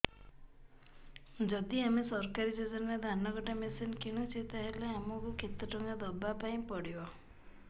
ଯଦି ଆମେ ସରକାରୀ ଯୋଜନାରେ ଧାନ କଟା ମେସିନ୍ କିଣୁଛେ ତାହାଲେ ଆମକୁ କେତେ ଟଙ୍କା ଦବାପାଇଁ ପଡିବ